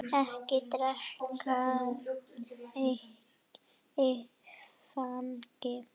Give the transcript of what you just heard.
Ekki drekka áfengi.